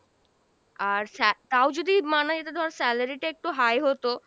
আর স্যা তাও যদি মানা যেত ধর salary টা একটু high হতো,